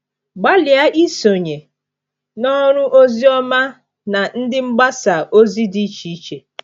Gbalịa isonye na ọrụ oziọma na ndị mgbasa ozi dị iche iche.